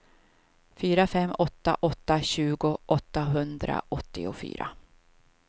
fyra fem åtta åtta tjugo åttahundraåttiofyra